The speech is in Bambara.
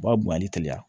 U b'a bonyani teliya